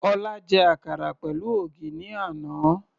Ọlá jẹ àkàrà pẹ̀lú ògì ní àná.